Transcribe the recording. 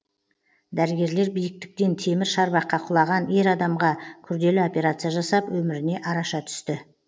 дәрігерлер биіктіктен темір шарбаққа құлаған ер адамға күрделі операция жасап өміріне араша түсті